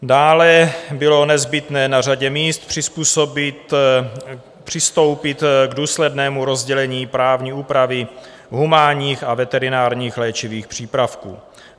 Dále bylo nezbytné na řadě míst přistoupit k důslednému rozdělení právní úpravy humánních a veterinárních léčivých přípravků.